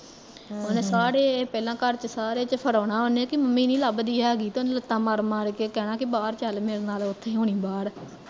ਓਹਨੇ ਸਾਰੇ ਚ ਪਹਿਲਾਂ ਘਰ ਚ ਸਾਰੇ ਚ ਫਿਰਾਉਣਾ ਉਹਨੇ ਕੀ ਮੰਮੀ ਨੀ ਲੱਭਦੀ ਹੈਗੀ ਤੇ ਉਹਨੇ ਲੱਤਾਂ ਮਾਰ ਮਾਰ ਕੇ ਕਹਿਣਾ ਕੀ ਬਾਹਰ ਚੱਲ ਮੇਰੇ ਨਾਲ਼ ਓਥੇ ਹੋਣੀ ਬਾਹਰ